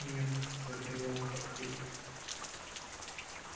нет загремел хагрид